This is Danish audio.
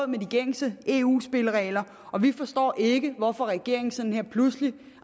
med de gængse eu spilleregler og vi forstår ikke hvorfor regeringen sådan lige pludselig